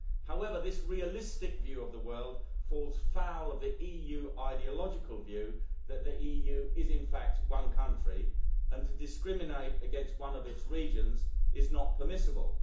However, this realistic view of the world falls foul of the EU ideological view that the EU is in fact one country, and to discriminate against one of its regions is not permissible.